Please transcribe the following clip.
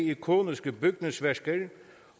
ikoniske bygningsværker